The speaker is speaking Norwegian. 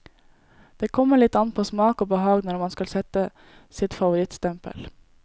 Det kommer litt an på smak og behag når man skal sette sitt favorittstempel.